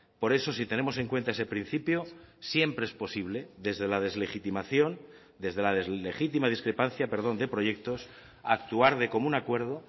por eso si tenemos en cuenta ese principio siempre es posible desde la deslegitimación desde la deslegítima discrepancia de proyectos actuar de común acuerdo